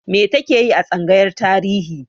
Me ta ke yi a tsangayar Tarihi?